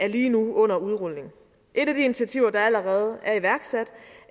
lige nu under udrulning et af de initiativer der allerede er iværksat